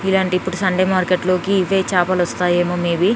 ఇలాంటి ఇప్పుడు సండే మార్కెట్లోకి ఇదే చేపలు వస్తాయేమో మీవి.